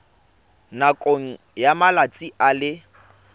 nakong ya malatsi a le